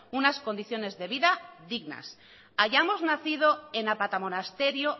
unas condiciones de vida dignas hayamos nacido en apatamonasterio